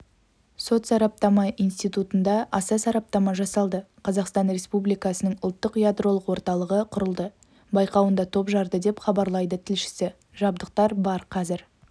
сот сараптама институтында аса сараптама жасалды қазақстан республикасының ұлттық ядролық орталығы құрылды байқауында топ жарды деп хабарлайды тілшісі жабдықтар бар қазір